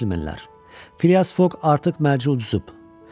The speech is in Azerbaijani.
Cənablər, Fias Fok artıq mərc udzub.